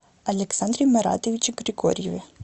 александре маратовиче григорьеве